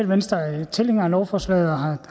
venstre er tilhængere af lovforslaget og